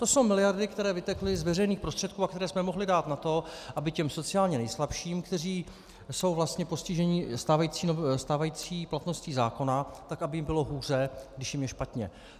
To jsou miliardy, které vytekly z veřejných prostředků a které jsme mohli dát na to, aby těm sociálně nejslabším, kteří jsou vlastně postiženi stávající platností zákona tak, aby jim bylo hůře, když jim je špatně.